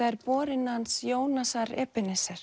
er borinn hans Jónasar